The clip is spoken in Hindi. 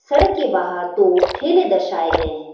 सड़क के बाहर दो ठेले दर्शाए गए है।